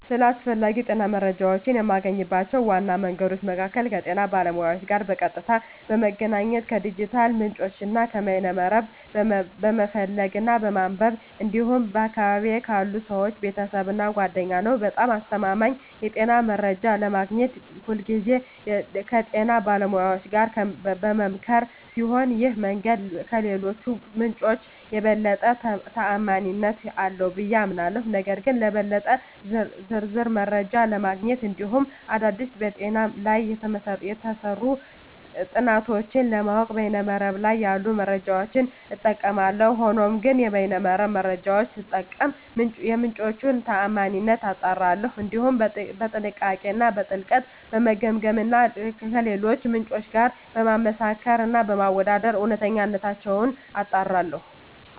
ስለ አስፈላጊ የጤና መረጃን የማገኝባቸው ዋና መንገዶች መካከል ከጤና ባለሙያዎች ጋር በቀጥታ በመገናኘት፣ ከዲጂታል ምንጮች እና ከበይነ መረብ በመፈለግ እና በማንበብ እንዲሁም በአካባቢየ ካሉ ሰወች፣ ቤተሰብ እና ጓደኛ ነዉ። በጣም አስተማማኝ የጤና መረጃ ለማግኘት ሁልጊዜ ከጤና ባለሙያዎች ጋር በምመካከር ሲሆን ይህ መንገድ ከሌሎቹ ምንጮች የበለጠ ተአማኒነት አለው ብየ አምናለሁ። ነገር ግን ለበለጠ ዝርዝር መረጃ ለማግኘት እንዲሁም አዳዲስ በጤና ላይ የተሰሩ ጥናቶችን ለማወቅ በይነ መረብ ላይ ያሉ መረጃዎችን እጠቀማለሁ። ሆኖም ግን የበይነ መረብ መረጃወቹን ስጠቀም የምንጮቹን ታአማኒነት አጣራለሁ፣ እንዲሁም በጥንቃቄ እና በጥልቀት በመገምገም እና ከሌሎች ምንጮች ጋር በማመሳከር እና በማወዳደር እውነተኝነታቸውን አጣራለሁ።